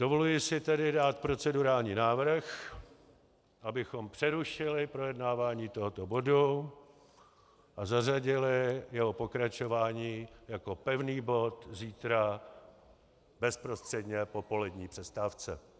Dovoluji si tedy dát procedurální návrh, abychom přerušili projednávání tohoto bodu a zařadili jeho pokračování jako pevný bod zítra bezprostředně po polední přestávce.